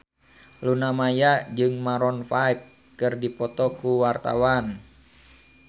Luna Maya jeung Maroon 5 keur dipoto ku wartawan